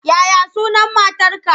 Ya ya sunan matarka?